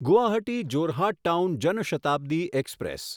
Guwahati Jorhat town Jan Shatabdi express